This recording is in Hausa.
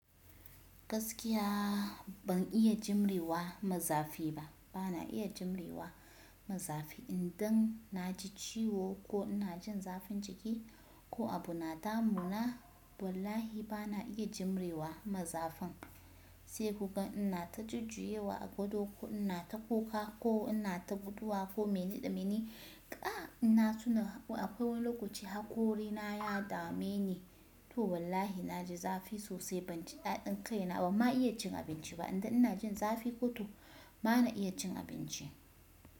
Gaskiya ban iya jimre wa maza fi ba. Bana iya jimre wa maza fi. Idan na ji ciwo ko ina jin zafin jiki ko abu na damuna wallahi bana iya jimre wa ma zafin. Sai kugan ina ta jujjuya wa a gado, ko ina ta kuka, ko ina ta guduwa ko mene da mene, ƙai! In na tuna akwai wani lokaci haƙori na ya dameni, to wallahi na ji zafi sosai ban ji ɗaɗin kai na ba. Banma iya cin abinci ba, idan ina jin zafi ko to ba na iya cin abinci.